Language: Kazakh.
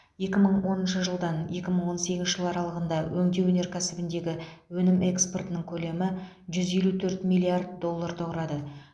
екі мың оныншы жылдан екі мың он сегізінші жыл аралығында өңдеу өнеркәсібіндегі өнім экспортының көлемі жүз елу төрт миллиард долларды құрады